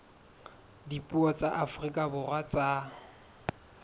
dipuo tsa afrika borwa tsa